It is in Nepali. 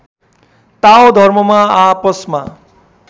ताओ धर्ममा आपसमा